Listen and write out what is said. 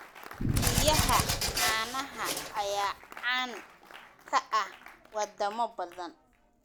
Riyaha caanaha ayaa caan ka ah wadamo badan.